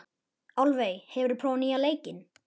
Álfey, hefur þú prófað nýja leikinn?